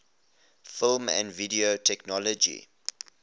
film and video technology